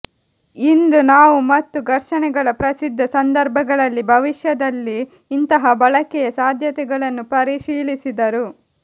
ಇಂದು ನಾವು ಮತ್ತು ಘರ್ಷಣೆಗಳ ಪ್ರಸಿದ್ಧ ಸಂದರ್ಭಗಳಲ್ಲಿ ಭವಿಷ್ಯದಲ್ಲಿ ಇಂತಹ ಬಳಕೆಯ ಸಾಧ್ಯತೆಗಳನ್ನು ಪರಿಶೀಲಿಸಿದರು